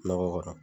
Nɔgɔ kɔrɔ